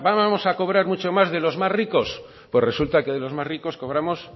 vamos a cobrar mucho más de los más ricos pues resulta que de los más ricos cobramos